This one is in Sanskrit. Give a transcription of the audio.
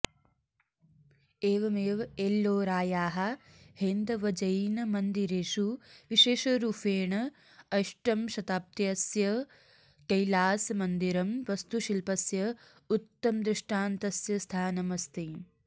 एवमेव एल्लोरायाः हैन्दवजैनमन्दिरेषु विशेषरूफेण अष्टमशताब्दस्य कैलासमन्दिरं वस्तुशिल्पस्य उत्तमदृष्टान्तस्य स्थानम् अस्ति